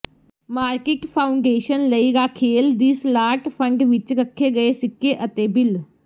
market foundation ਲਈ ਰਾਖੇਲ ਦੀ ਸਲਾਟ ਫੰਡ ਵਿੱਚ ਰੱਖੇ ਗਏ ਸਿੱਕੇ ਅਤੇ ਬਿਲ